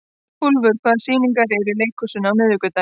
Úlfur, hvaða sýningar eru í leikhúsinu á miðvikudaginn?